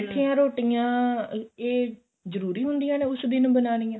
ਮਿਠੀਆਂ ਰੋਟੀਆਂ ਇਹ ਜਰੂਰੀ ਹੁੰਦੀਆਂ ਨੇ ਉਸ ਦਿਨ ਬਣਾਨੀਆਂ